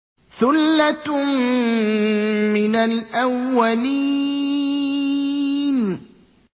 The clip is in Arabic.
ثُلَّةٌ مِّنَ الْأَوَّلِينَ